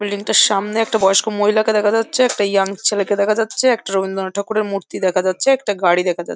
Building টার সামনে একটা বয়স্ক মহিলাকে দেখা যাচ্ছে। একটা ইয়াং ছেলেকে দেখা যাচ্ছে একটা রবীন্দ্রনাথ ঠাকুরের মূর্তি দেখা যাচ্ছে একটা গাড়ি দেখা যাচ্ছে।